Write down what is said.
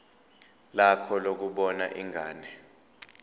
lakho lokubona ingane